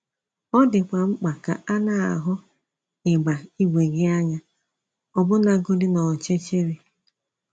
Ọ dịkwa mkpa ka a na - ahụ ígba ígwè gị anya, ọbụnagọdị n’ọchịchịrị.